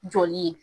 Joli ye